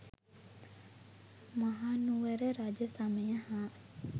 මහනුවර රජ සමය හා